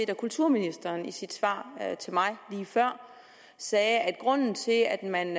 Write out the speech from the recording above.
at kulturministeren i sit svar til mig lige før sagde at grunden til at man